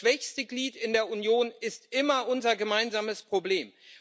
Das schwächste Glied in der Union ist immer unser gemeinsames Problem.